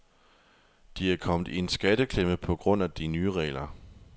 De er kommet i en skatteklemme på grund af de nye regler.